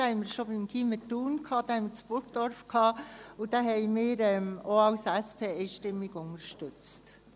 wir hatten ihn schon beim Gymnasium Thun und bei Burgdorf, und wir als SP hatten ihn einstimmig unterstützt.